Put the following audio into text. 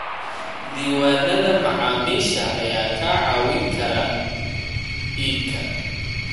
Diiwaanada macaamiisha ayaa kaa caawin kara iibka.